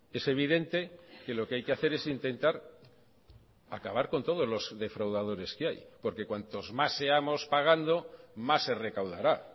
es evidente que lo que hay que hacer es intentar acabar con todos los defraudadores que hay porque cuantos más seamos pagando más se recaudará